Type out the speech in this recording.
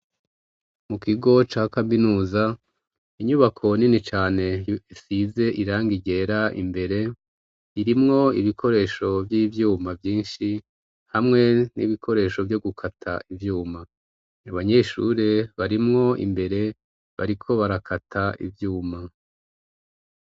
Mu kigo ca kaminuza inyubako nini cane isize iranga igera imbere irimwo ibikoresho vy'ivyuma vyinshi hamwe n'ibikoresho vyo gukata ivyuma abanyeshure barimwo imbere bariko barakata ivyuma.